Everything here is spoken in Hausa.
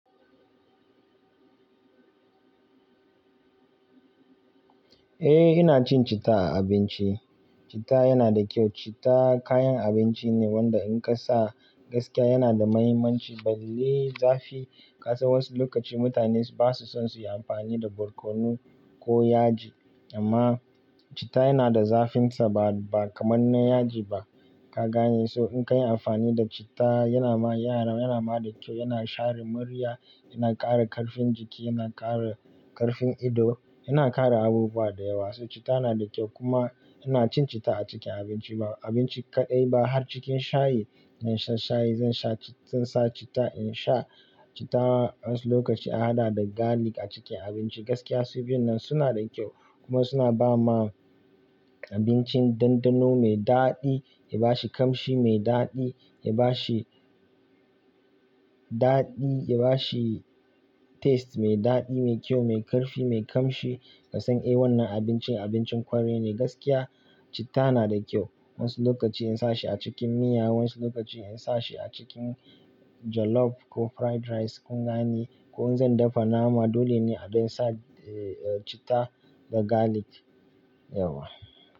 Eh ina cin citta a abinci. Cita yana da kyau. Citta kayan abinci ne wanda in ka sa gaskiya yana da mahimmanci. Balle zafi ka san wasu lokaci mutane ba su son su yi amfani da barkono ko yaji amma citta yana da zafinsa ba, ba kamar na yaji ba ka gane. So in ka yi amfani da citta yana ma yara, yana ma da kyau, yana share murya, yana ƙara ƙarfin jiki, yana ƙara ƙarfin ido, yana ƙara abubuwa da yawa. So citta yana da kyau kuma ina cin citta a cikin abinci. Abinci kaɗai ba har cikin shayi. In sha shayi zan sha ci-- zan sa citta in sha. Citta wasu lokaci an haɗa da garlic a cikin abinci. Gaskiya su biyun nan suna da kyau kuma suna ba ma abincin dandano mai daɗi, ya ba shi kamshi, mai daɗi, ya ba shi daɗi, ya ba shi taste mai daɗi, mai kyau, mai ƙarfi, mai kamshi ka san eh wannan abincin abincin ƙwarai ne gaskiya. Citta yana da kyau. Wasu lokaci in sa shi a cikin miya, wasu lokaci in sa shi a cikin jollof ko fried rice kun gane ko in zan dafa nama dole ne a don sa, eh, eh cittaa da garlic. Yauwa.